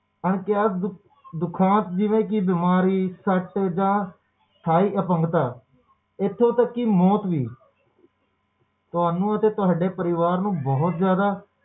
ਅੰਗਿਯਾਤ ਦੁਖਾਂਤ ਜਿਵੇ ਕਿ ਬਿਮਾਰੀ ਸੱਟ ਜਾ ਸਾਹੇ ਅਪੰਗਤਾ ਇਥੋਂ ਤਕ ਕਿ ਮੌਤ ਵੀ ਤੁਹਾਨੂੰ ਅਤੇ ਤੁਹਾਡੇ ਪਰਿਵਾਰ ਨੂੰ ਬਹੁਤ ਜ਼ਿਆਦਾ